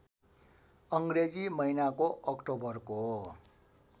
अङ्ग्रेजी महिनाको अक्टोबरको